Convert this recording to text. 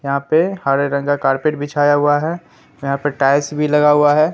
यहां पे हरे रंग का कारपेट बिछाया हुआ है यहां पे टाइल्स भी लगा हुआ है।